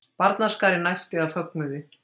Barnaskarinn æpti af fögnuði.